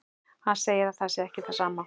Hann segir að það sé ekki það sama.